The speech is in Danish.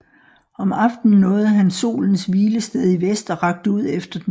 Om aftenen nåede han solens hvilested i vest og rakte ud efter den